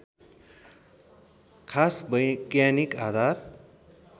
खास वैज्ञानिक आधार